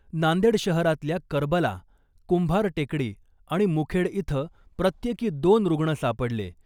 नांदेड शहरातल्या करबला , कुंभार टेकडी आणि मुखेड इथं प्रत्येकी दोन रुग्ण सापडले .